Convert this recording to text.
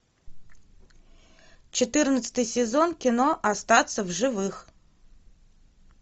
четырнадцатый сезон кино остаться в живых